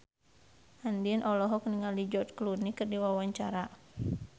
Andien olohok ningali George Clooney keur diwawancara